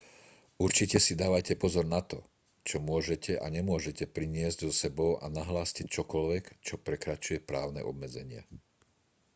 určite si dávajte pozor na to čo môžete a nemôžete priniesť so sebou a nahláste čokoľvek čo prekračuje právne obmedzenia